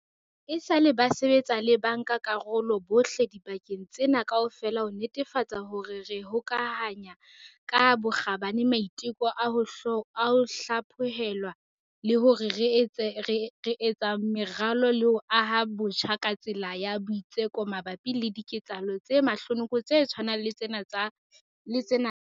Esale ba sebetsa le bankakarolo bohle dibakeng tsena kaofela ho netefatsa hore re hokahanya ka bokgabane maiteko a ho hlaphohelwa le hore re etsa meralo le ho aha botjha ka tsela ya boitseko mabapi le diketsahalo tse mahlonoko tse tshwanang le tsena kamoso.